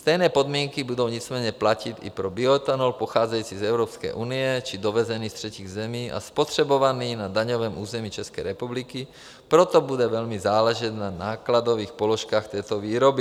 Stejné podmínky budou nicméně platit i pro bioethanol pocházející z Evropské unie či dovezený z třetích zemí a spotřebovaný na daňovém území České republiky, proto bude velmi záležet na nákladových položkách této výroby.